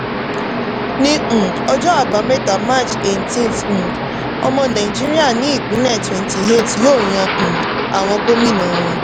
ní um ọjọ́ àbámẹ́ta march 18th um ọmọ nàìjíríà ní ìpínlẹ̀ 28 yóò yan um àwọn gómìnà wọn.